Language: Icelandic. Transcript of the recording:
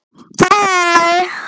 Hvað er ég búinn að sofa lengi?